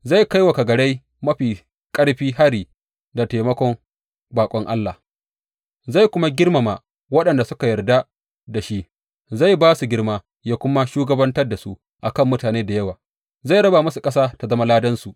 Zai kai wa kagarai mafi ƙarfi hari da taimakon baƙon allah zai kuma girmama waɗanda suka yarda da shi zai ba su girma, ya kuma shugabantar da su a kan mutane da yawa, zai raba musu ƙasa ta zama ladansu.